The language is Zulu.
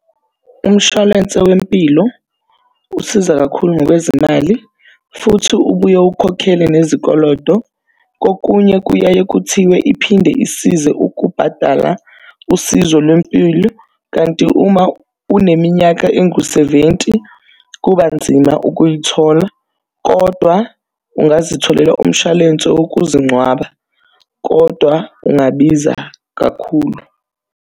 Umshwalense wempilo usiza kakhulu ngokwezimali futhi ubuye ukhokhele nezikolodo. Kokunye kuyaye kuthiwe iphinde isize ukubhadala usizo lwempilo. Kanti uma uneminyaka engu-seventy kuba nzima ukuyithola kodwa ungazitholela umshwalense wokuzincwaba. Kodwa ungabiza kakhulu.